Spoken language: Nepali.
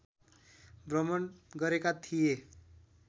भ्रमण गरेका थिए